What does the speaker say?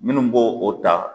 Minnu b'o o ta